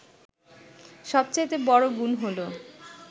সবচাইতে বড় গুণ হল